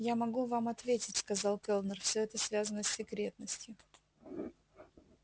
я могу вам ответить сказал кэллнер всё это связано с секретностью